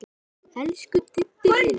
Elsku Diddi minn.